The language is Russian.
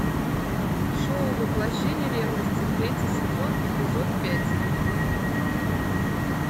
шоу воплощение ревности третий сезон эпизод пять